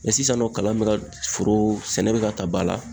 sisan nɔ kalan be ka foro sɛnɛ be ka ta ba la